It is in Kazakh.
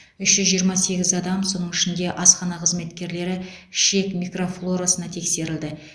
үш жүз жиырма сегіз адам соның ішінде асхана қызметкерлері ішек микрофлорасына тексерілді